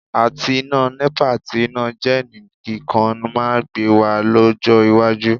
Àti iná Nepa àti iná jẹ́ẹ̀nì kíkan máa gbé wa lọ́jọ́ iwájú